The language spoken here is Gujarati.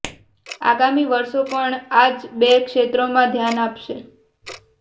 આગામી વર્ષો પણ આ જ બે ક્ષેત્રોમાં ધ્યાન અપાશે